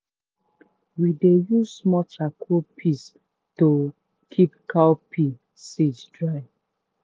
we dey use small charcoal piece to keep cowpea seed dry.